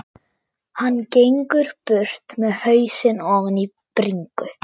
Hann gengur burt með hausinn ofan í bringu.